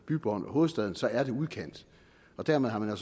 bybånd og hovedstaden så er det udkant dermed har man